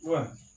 Wa